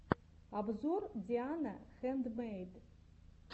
обзор диана хэндмэйд